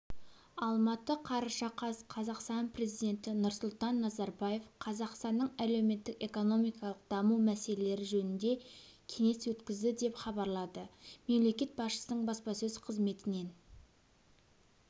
алматы қараша қаз қазақстан президенті нұрсұлтан назарбаев қазақстанның әлеуметтік-экономикалық даму мәселелері жөнінде кеңес өткізді деп хабарлады мемлекет басшысының баспасөз қызметінен